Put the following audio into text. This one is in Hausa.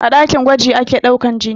A ɗakin gwaji ake ɗaukan jini